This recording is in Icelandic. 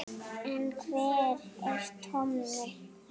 En hver er Tommi?